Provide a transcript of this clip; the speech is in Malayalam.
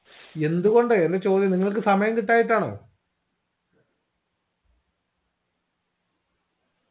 എന്തുകൊണ്ട് അല്ലെ ചോദ്യം നിങ്ങൾക്ക് സമയം കിട്ടായിട്ടാണോ